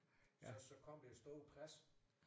Så så kom det store pres